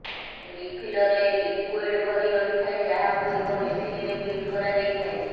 ରିଫିଲରେ liquid ଭରି ରହିଥାଏ ଯାହାକୁ ଏକ ମେସିନରେ ଫିଟ୍ କରାଯାଇଥାଏ